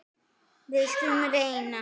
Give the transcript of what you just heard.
Við skulum reyna.